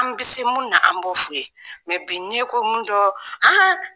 An bɛ se munnu na an bɔ fu ye, bi ni ko mun dɔɔ an.